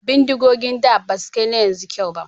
Bindigogin da basu kai na yanzu kyau ba